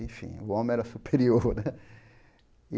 Enfim, o homem era superior. Né